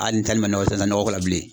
Hali n'i tali ma nɔgɔ ko la bilen